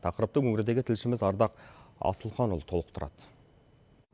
тақырыпты өңірдегі тілшіміз ардақ асылханұлы толықтырады